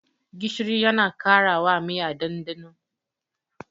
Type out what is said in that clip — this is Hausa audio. Gishiri yana karawa miya ɗanɗano.